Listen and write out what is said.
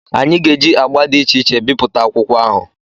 Anyị ga-eji agba dị iche iche bipụta akwụkwọ ahụ.